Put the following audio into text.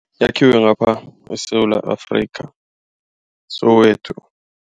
Yakhiwe ngapha ngeSewula Afrika eSoweto.